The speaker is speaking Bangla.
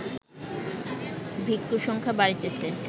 ভিক্ষুসংখ্যা বাড়িতেছে